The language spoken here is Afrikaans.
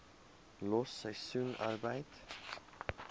los seisoensarbeid